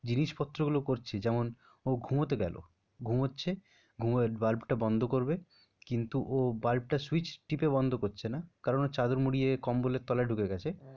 জিনিসপত্র গুলো করছে যেমন ও ঘুমোতে গেল, ঘুমোচ্ছে বাল্বটা বন্ধ করবে কিন্তু ও বাল্বটা switch টিপে বন্ধ করছে না কারণ ও চাদর মুড়িয়ে কম্বলের তলায় ঢুকে গেছে।